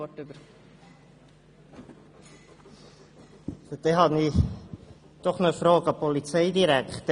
Ich habe noch eine Frage an den Polizeidirektor.